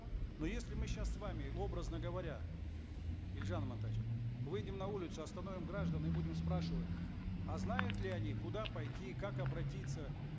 но если мы сейчас с вами образно говоря елжан амантаевич выйдем на улицу остановим граждан и будем спрашивать а знают ли они куда пойти как обратиться